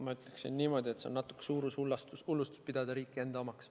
Ma ütleksin niimoodi, et on natuke suurushullustus pidada riiki enda omaks.